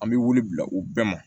An bɛ wuli bila u bɛɛ ma